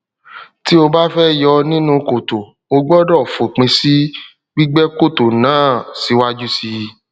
tí ó bá fẹ yọ nínú kòtò o gbọdọ fòpin sí gbígbẹ kòtò náà siwaju síi